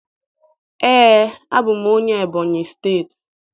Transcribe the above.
Ee, abụ m onye Ebonyị steeti